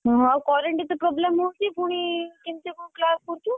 ଓହୋ ଆଉ current ତ problem ହଉଛି ପୁଣି କେମତି କଣ class କରୁଛୁ?